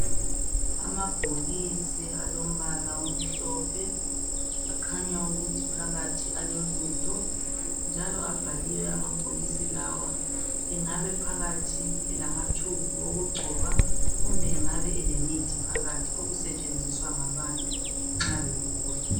amabhokisi alombala omhlophe akhanya ukuthi phakathi alolutho njalo abhaliwe amabhokisi lawa engabe phakathi elama tube okugcoba kumbe engabe elemithi phakathi okusetshenziswa ngabantu nxa begula